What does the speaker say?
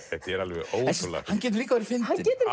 þetta er alveg ótrúlega hann getur líka verið fyndinn hann getur